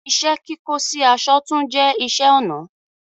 Ìṣẹ̀-kíkọ̀ sì àṣọ̀ tún jẹ̀ ìṣẹ̀-ọnà